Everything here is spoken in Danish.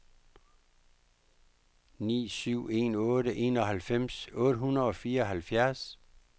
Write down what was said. ni syv en otte enoghalvfems otte hundrede og fireoghalvfjerds